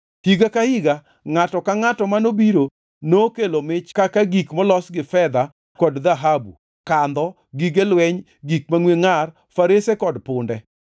Higa ka higa, ngʼato ka ngʼato manobiro nokelo mich kaka gik molos gi fedha kod dhahabu, kandho, gige lweny, gik mangʼwe ngʼar, farese kod punde.